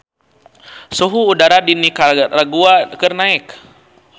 Suhu udara di Nikaragua keur naek